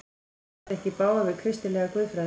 Fer þetta ekki í bága við kristilega guðfræði?